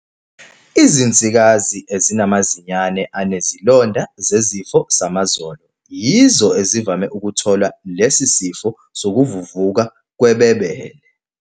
Izinsikazi ezinamazinyane anezilonda zesifo samazolo, "sore mouth", yizo ezivame ukuthola lesi sifo sokuvuvuka kwebebele.